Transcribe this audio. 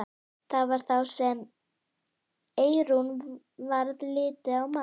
Það var þá sem Eyrúnu varð litið á Mark.